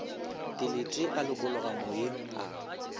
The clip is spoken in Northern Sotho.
dilete a lokologa moyeng a